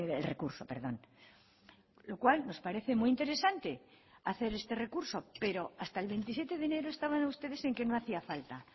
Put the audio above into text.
el recurso lo cual nos parece muy interesante hacer este recurso pero hasta el veintisiete de enero estaban ustedes en que no hacía falta